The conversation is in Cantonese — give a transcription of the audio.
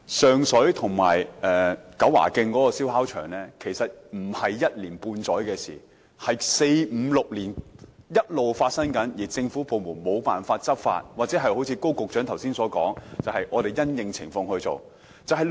上水和九華徑的燒烤場其實不是一年半載的事，而是五六年來一直發生，而政府部門無法執法，或正如高局長剛才所說般因應情況處理。